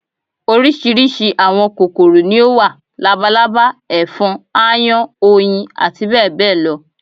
Oríṣiríṣi àwọn kòkòrò ni ó wà: labalábá, ẹ̀fọn, aáyán, oyin àti bẹ́ẹ̀ bẹ́ẹ̀ lọ